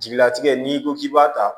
Jigilatigɛ n'i ko k'i b'a ta